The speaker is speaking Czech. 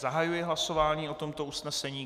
Zahajuji hlasování o tomto usnesení.